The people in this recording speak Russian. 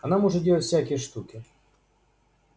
она может делать всякие штуки